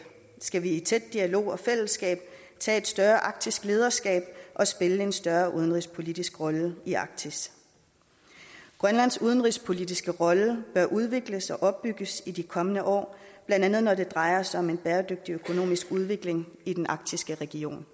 skal vi i tæt dialog og fællesskab tage et større arktisk lederskab og spille en større udenrigspolitisk rolle i arktis grønlands udenrigspolitiske rolle bør udvikles og opbygges i de kommende år blandt andet når det drejer sig om en bæredygtig og økonomisk udvikling i den arktiske region